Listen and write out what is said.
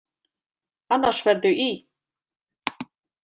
Annars ferðu í.